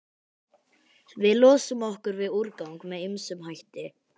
Við losum okkur við úrgang með ýmsum hætti.